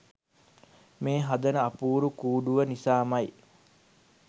මේ හදන අපූරු කූඩුව නිසාමයි.